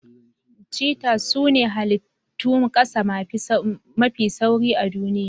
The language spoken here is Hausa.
Cheetah sune halittun kasa mafi sauri a duniya.